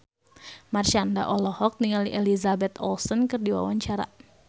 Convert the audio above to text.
Marshanda olohok ningali Elizabeth Olsen keur diwawancara